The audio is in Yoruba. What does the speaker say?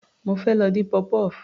Mo fẹ́ lọ dín puff puff.